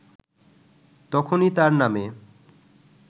তখনই তার নামে